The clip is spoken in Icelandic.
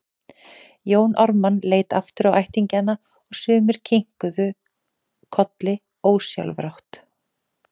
Jón Ármann leit aftur á ættingjana og sumir kinkuðu kolli ósjálfrátt.